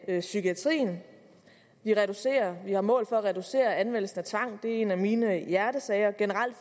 af psykiatrien vi har mål for at reducere anvendelsen af tvang det er en af mine hjertesager og generelt